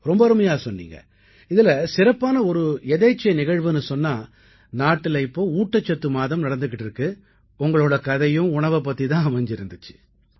ரொம்ப அருமையா சொன்னீங்க இதில சிறப்பான ஒரு எதேச்சை நிகழ்வுன்னு சொன்னா நாட்டுல இப்ப ஊட்டச்சத்து மாதம் நடந்துக்கிட்டு இருக்கு உங்களோட கதையும் உணவைப் பத்தியே தான் அமைச்சிருந்திச்சு